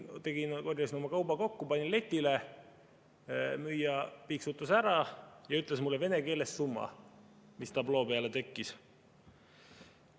Korjasin oma kauba kokku, panin letile, müüja piiksutas ära ja ütles mulle vene keeles summa, mis tabloo peale tekkis.